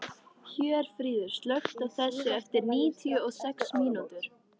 Hjörfríður, slökktu á þessu eftir níutíu og sex mínútur.